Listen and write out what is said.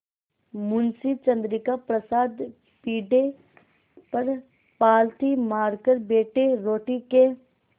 मुंशी चंद्रिका प्रसाद पीढ़े पर पालथी मारकर बैठे रोटी के